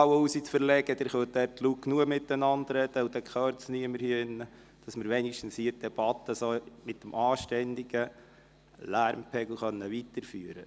So können wir die Debatte hier drin mit einem anständigen Lärmpegel weiterführen.